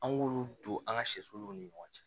An k'olu don an ka sɛsoluw ni ɲɔgɔn cɛ